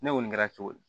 Ne kɔni kɛra cogo di